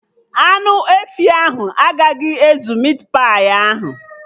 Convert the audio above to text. Anụ efi ahụ agaghị ezu mit pai ahụ